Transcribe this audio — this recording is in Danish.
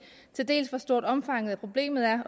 hvor stort omfanget af problemet er